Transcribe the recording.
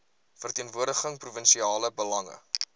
verteenwoordig provinsiale belange